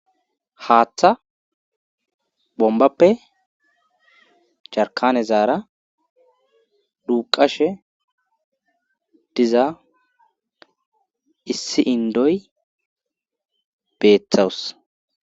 Haaththa bombappe carkane zaara duuqashe diza issi indoy beeththawus